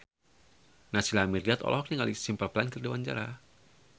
Naysila Mirdad olohok ningali Simple Plan keur diwawancara